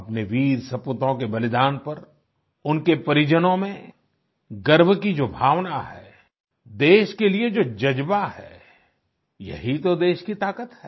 अपने वीरसपूतों के बलिदान पर उनके परिजनों में गर्व की जो भावना है देश के लिए जो ज़ज्बा है यही तो देश की ताकत है